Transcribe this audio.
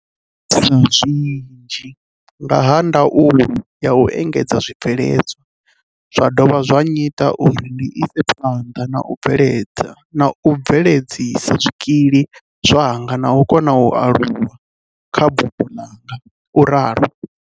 "Zwo ngudisa zwinzhi nga ha ndaulo ya u endedza zwibveledzwa zwa dovha zwa nnyita uri ndi ise phanḓa na u bve ledzisa zwikili zwanga na u kona u aluwa kha buḓo ḽanga," u ralo.